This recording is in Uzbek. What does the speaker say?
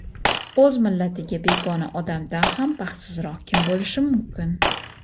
"…o‘z millatiga begona odamdan ham baxtsizroq kim bo‘lishi mumkin".